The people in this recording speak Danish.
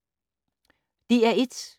DR1